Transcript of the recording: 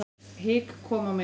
Hik kom á mig.